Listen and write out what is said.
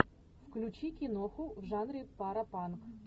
включи киноху в жанре паропанк